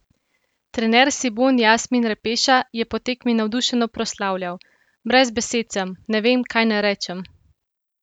Trener Cibone Jasmin Repeša je po tekmi navdušeno proslavljal: "Brez besed sem, ne vem, kaj naj rečem.